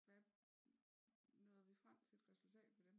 Hvad nåede vi frem til for et resultat på dem